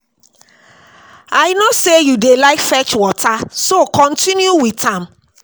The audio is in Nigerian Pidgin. I no say you dey like fetch water so continue with am